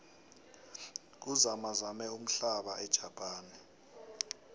kuzamazame umhlaba ejapane